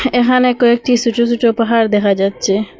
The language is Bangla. এহানে কয়েকটি সোট সোট পাহাড় দেখা যাচ্ছে।